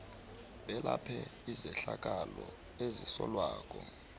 belaphe izehlakalo ezisolwako